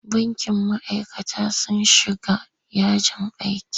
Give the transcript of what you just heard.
Bankin ma'aikatan sun shiga yajin aiki?